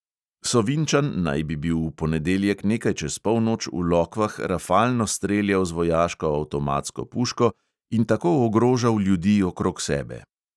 Sovinčan naj bi bil v ponedeljek nekaj čez polnoč v lokvah rafalno streljal z vojaško avtomatsko puško in tako ogrožal ljudi okrog sebe.